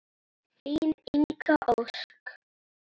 Þín Inga Ósk.